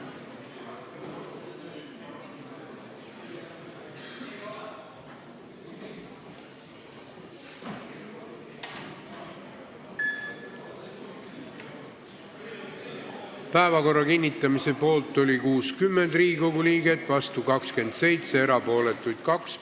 Hääletustulemused Päevakorra kinnitamise poolt oli 60 Riigikogu liiget, vastu 27, erapooletuid 2.